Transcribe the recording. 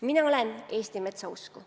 Mina olen Eesti metsa usku.